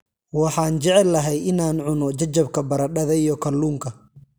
Waxaan jeclahay in aan cuno jajabka baradhada iyo kalluunka.